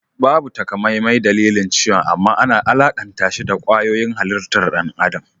Babu takamaimai dalilin ciwon amman ana alakantashi da kwayoyin halittar ɗan adam